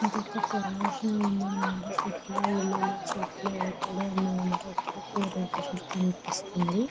ఇదొక ఫారెస్ట్ లా వుంది అనామాట చెట్లు పక్కనే ఒక రేకుల షెడ్ కూడా కనిపిస్తుంది.